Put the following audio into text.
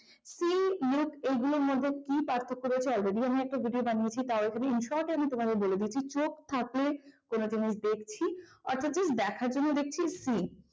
see look এগুলোর মধ্যে কি পার্থক্য রয়েছে already আমরা একটা ভিডিও বানিয়েছি তাও এখানে in short আমি তোমাদের বলে দিচ্ছি চোখ থাকলে কোন জিনিস দেখছি অর্থাৎ সেই দেখার জন্য দেখছি মানে see